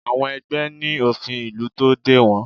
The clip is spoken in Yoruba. Àwọn ẹgbẹ́ ní òfin ìlú tó dè wọ́n